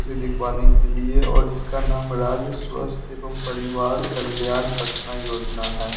से दिखवाने के लिए और इसका नाम राज्य स्वस्थ एवं परिवार कल्याण पटना योजना है।